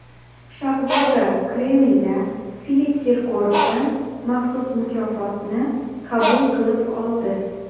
Shahzoda Kremlda Filipp Kirkorovdan maxsus mukofotni qabul qilib oldi.